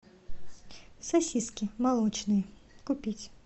сосиски молочные купить